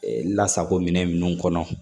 Lasago minɛn minnu kɔnɔ